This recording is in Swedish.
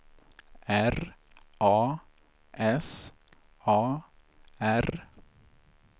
R A S A R